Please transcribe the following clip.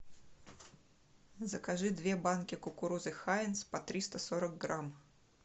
закажи две банки кукурузы хайнц по триста сорок грамм